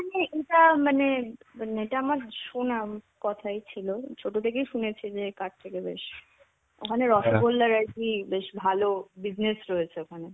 এটা মানে মানে এটা আমার শোনা কথাই ছিল. ছোট থেকেই শুনেছি যে কার থেকে বেশ, ওখানে রসগোল্লার আর কি ভালো business রয়েছে.